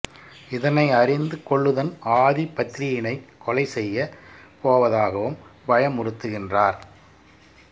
இதனை அறிந்து கொள்ளுன் ஆதி பத்ரியினைக் கொலை செய்யப்போவதாகவும் பயமுறுத்துகின்றார்